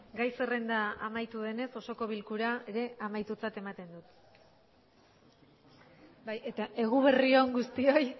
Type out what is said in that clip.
gai zerrenda amaitu denez osoko bilkura ere amaitutzat ematen dut bai eta eguberri on guztioi